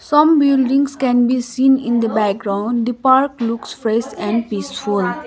some buildings can be seen in the background the park looks fresh and peaceful.